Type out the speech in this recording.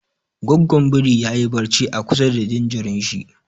Goggon biri ya yi barci a kusa da jinjirin shi.